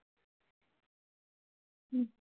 হুঁ